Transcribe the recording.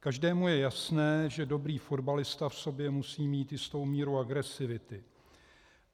Každému je jasné, že dobrý fotbalista v sobě musí mít jistou míru agresivity.